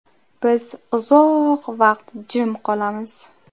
Biz uzoq vaqt jim qolamiz.